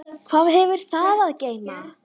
Hvað hefur það að geyma?